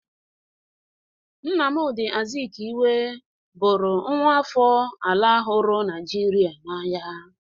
Nnamdi Azikiwe bụrụ nwa afọ ala huru Naijiria n'anya.